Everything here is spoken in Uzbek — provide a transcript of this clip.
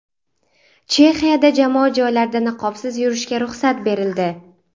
Chexiyada jamoat joylarida niqobsiz yurishga ruxsat berildi.